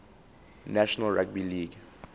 national rugby league